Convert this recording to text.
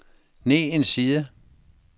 ned en side